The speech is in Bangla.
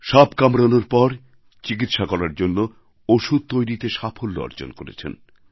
সাপ কামড়ানোর পর চিকিৎসার করার জন্য ওষুধ তৈরিতে সাফল্য অর্জন করেছেন